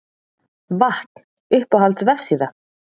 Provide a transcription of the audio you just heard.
Vatn Uppáhalds vefsíða?